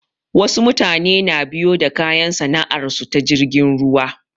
Wasu mutane na biyo da kayan sana'ar su ta jirgin ruwa